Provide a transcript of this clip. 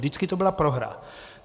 Vždycky to byla prohra.